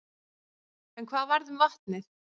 En hvað varð um vatnið?